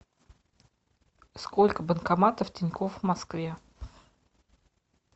сколько банкоматов тинькофф в москве